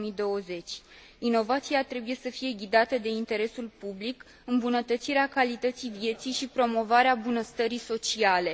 2020. Inovația trebuie să fie ghidată de interesul public, îmbunătățirea calității vieții și promovarea bunăstării sociale.